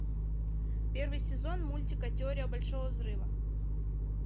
первый сезон мультика теория большого взрыва